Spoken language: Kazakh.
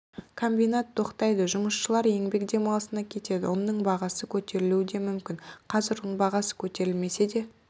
комбинат тоқтайды жұмысшылар еңбек демалысына кетеді ұнның бағасы көтерілуі де мүмкін қазір ұн бағасы көтерілмесе де